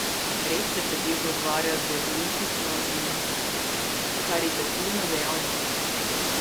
Red se pretežno ukvarja z bolnišnično in karitativno dejavnostjo.